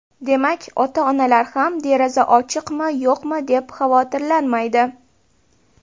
Demak, ota-onalar ham deraza ochiqmi-yo‘qmi deb xavotirlanmaydi.